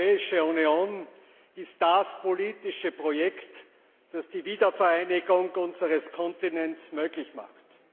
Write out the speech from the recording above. Die Europäische Union ist das politische Projekt, das die Wiedervereinigung unseres Kontinents möglich macht.